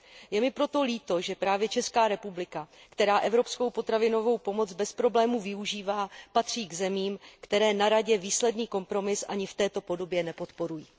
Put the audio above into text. Je mi proto líto, že právě Česká republika, která evropskou potravinovou pomoc bez problémů využívá, patří k zemím, které na Radě výsledný kompromis ani v této podobě nepodporují.